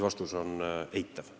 Vastus on eitav.